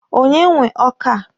Onye nwe ọka a?